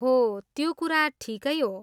हो! त्यो कुरा ठिकै हो।